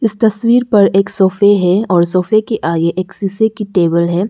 तस्वीर पर एक सोफे है और सोफे की आगे एक शीशे की टेबल है।